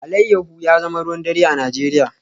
Alayyahu ya zama ruwan dare a Najeriya